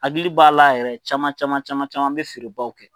Akili b'a la yɛrɛ cama cama caman an be feerebaw kɛ